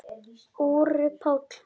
Orri Páll.